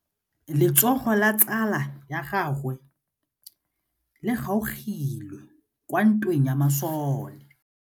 Letsôgô la tsala ya gagwe le kgaogile kwa ntweng ya masole.